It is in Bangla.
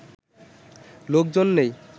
লোকজন নেই